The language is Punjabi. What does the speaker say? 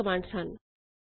ਹੋਰ ਵੀ ਕਈ ਕਮਾੰਡਸ ਹਨ